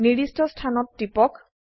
নির্দিষ্ট স্থানত টিপক